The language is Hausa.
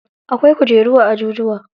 Akwai kujeru a ajujuwa.